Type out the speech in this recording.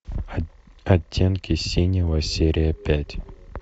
оттенки синего серия пять